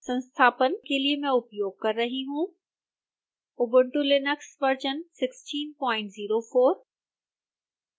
संस्थापन के लिए मैं उपयोग कर रही हूँ